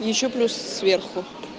ещё плюс сверху